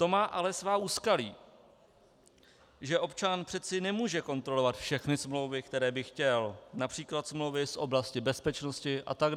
To má ale svá úskalí, že občan přece nemůže kontrolovat všechny smlouvy, které by chtěl, například smlouvy z oblasti bezpečnosti atd.